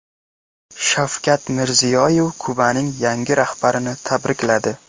Shavkat Mirziyoyev Kubaning yangi rahbarini tabrikladi.